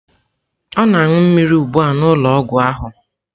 Ọ na-aṅụ mmiri ugbu a n'ụlọọgwụ ahụ.